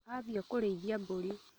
Athiĩ kũrĩithia mbũri